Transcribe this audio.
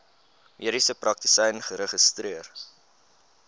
mediese praktisyn geregistreer